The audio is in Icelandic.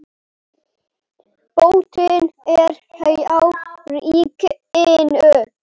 Boltinn er hjá ríkinu.